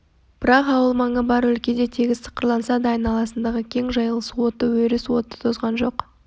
бірақ ауыл маңы бар өлкеде тегіс тықырланса да айналасындағы кең жайылыс оты өріс оты тозған жоқ